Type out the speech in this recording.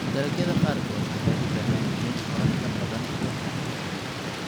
Dalagyada qaarkood waxay u baahan yihiin qorrax ka badan kuwa kale.